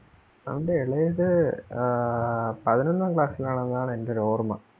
അവന്റെ ഇളയത് ആഹ് പതിനൊന്നാം class ൽ ആണെന്നാണ് എൻ്റെ ഒരോർമ്മ.